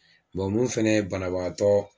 Bɔn mun fɛnɛ ye banabaatɔ